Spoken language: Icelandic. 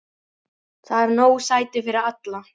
Þar eru nóg sæti fyrir alla.